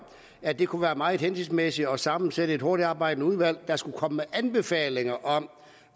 at det kunne være meget hensigtsmæssigt at sammensætte et hurtigtarbejdende udvalg der skulle komme med anbefalinger om